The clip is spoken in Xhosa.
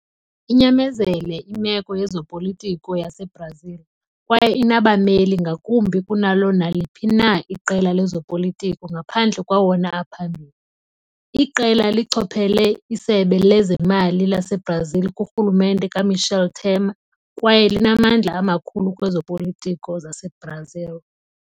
Inyamezele imeko yezopolitiko yaseBrazil, kwaye inabameli ngakumbi kunalo naliphi na iqela lezopolitiko ngaphandle kwawona aphambili. Iqela lichophele iSebe lezeMali laseBrazil kurhulumente kaMichel Temer, kwaye linamandla amakhulu kwezopolitiko zaseBrazil.